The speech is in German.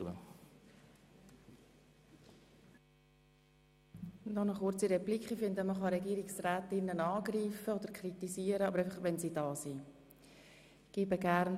Ich finde, man kann Regierungsräte angreifen oder kritisieren, aber nur dann, wenn sie anwesend sind.